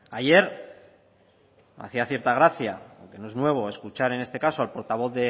ayer me hacía cierta gracia aunque no es nuevo escuchar en este caso al portavoz